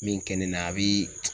Min kɛ ne na ,a bi